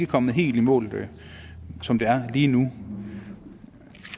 kommet helt i mål som det er lige nu